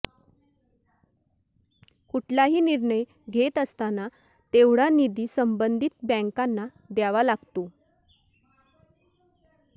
कुठलाही निर्णय घेत असताना तेवढा निधी संबंधित बँकांना द्यावा लागतो